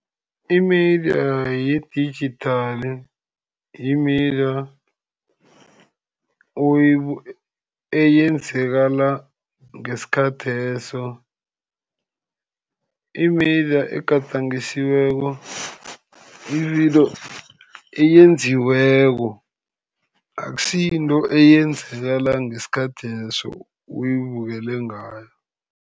I-media ye-digital, yi-media eyenzakala ngesikhatheso. I-media egadangisiweko yividiyo eyenziweko. Akusi yinto eyenzakala ngesikhatheso oyibukele ngayo.